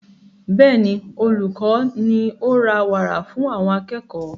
Bẹ́ẹ̀ni, olùkọ ní o ra wàrà fún àwọn akẹ́kọ̀ọ́